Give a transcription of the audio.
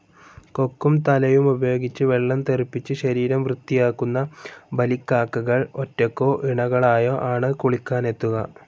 കൊക്കും തലയുമുപയോഗിച്ച് വെള്ളം തെറിപ്പിച്ച് ശരീരം വൃത്തിയാക്കുന്ന ബലിക്കാക്കകൾ ഒറ്റക്കോ ഇണകളായോ ആണ് കുളിക്കാനെത്തുക.